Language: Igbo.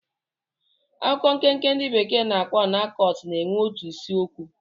Akụkọ nkenke ndị bekee na-akpọ anekdot na-enwe otu isiokwu.